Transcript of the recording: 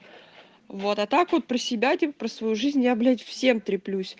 вот а так вот про себя типа про свою жизнь я блять всем треплюсь